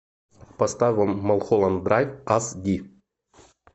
поставь малхолланд драйв ас ди